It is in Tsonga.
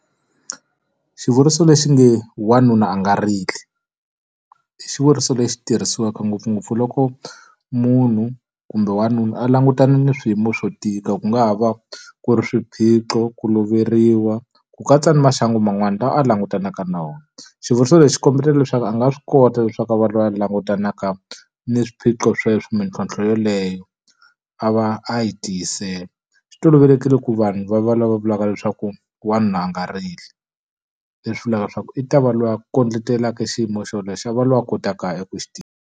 Xivuriso lexi nge wanuna a nga rili. I xivuriso lexi tirhisiwaka ngopfungopfu loko munhu kumbe wanuna a langutana na swiyimo swo tika, ku nga ha va ku ri swiphiqo, ku loveriwa, ku katsa ni maxangu man'wana lawa a langutanaka na wona. Xivuriso lexi kombetela leswaku a nga swi kota leswaku a va loyi a langutanaka ni swiphiqo sweswo mintlhontlho yeleyo, a va a yi tiyisela. Swi tolovelekile ku vanhu va va lava va vulavulaka leswaku wanuna a nga rili, leswi vulaka leswaku i ta va loyi a kondletelaka xiyimo xolexo, a va loyi a kotaka ku xi .